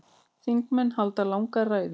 Þingmenn halda langar ræður.